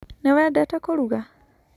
Nĩwendete kũruga?